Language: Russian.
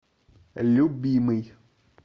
любимый